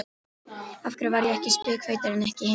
Af hverju var ég spikfeitur en ekki hinir?